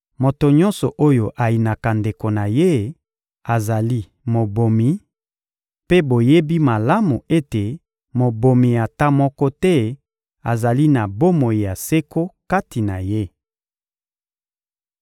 Moto nyonso oyo ayinaka ndeko na ye azali mobomi; mpe boyebi malamu ete mobomi ata moko te azali na bomoi ya seko kati na ye.